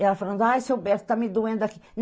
Ela falando, ah, seu Berto está me doendo aqui.